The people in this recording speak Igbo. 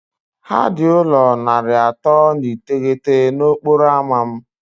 Ha dị ụlọ narị atọ na iteghete na okporo ámá m